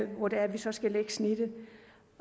hvor det er vi så skal lægge snittet